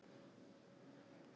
Vera mun í mér og þér.